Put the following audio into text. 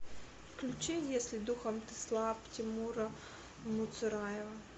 включи если духом ты слаб тимура муцураева